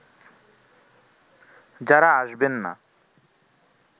যারা আসবেন না